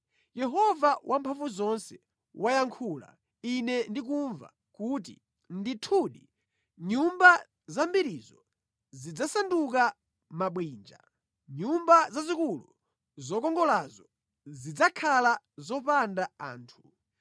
Yehova Wamphamvuzonse wayankhula ine ndikumva kuti, “Ndithudi nyumba zambirizo zidzasanduka mabwinja, nyumba zazikulu zokongolazo zidzakhala zopanda anthu.